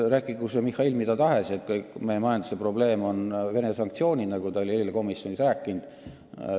Rääkigu Mihhail mida tahes, näiteks, et meie majanduse suurim probleem on Vene sanktsioonid, nagu ta oli eile komisjonis rääkinud.